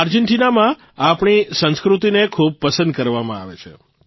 આર્જેન્ટીનામાં આપણી સંસ્કૃતિને ખૂબ પસંદ કરવામાં આવે છે